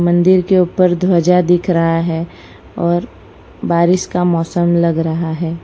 मंदिर के ऊपर ध्वजा दिख रहा है और बारिश का मौसम लग रहा है।